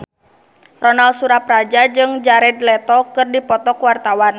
Ronal Surapradja jeung Jared Leto keur dipoto ku wartawan